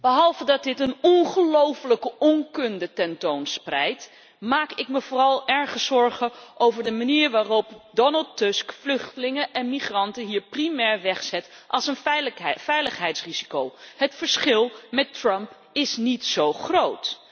Behalve dat dit een ongelooflijke onkunde ten toon spreidt, maak ik me vooral erg zorgen over de manier waarop Donald Tusk vluchtelingen en migranten hier primair wegzet als een veiligheidsrisico. Het verschil met Trump is niet zo groot.